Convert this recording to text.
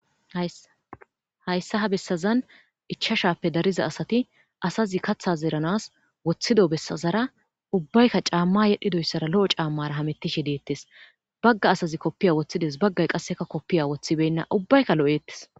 Hayssa ha bessazan ichachappe dariza asati asazi kathtja zeranas wothido bessazara ubbayka caama yedhidoysara lo'o caamara hametishe deetes bagga asazi kopiya wothides baggay qaseka kopiya wothibena ubbayka lo'etes.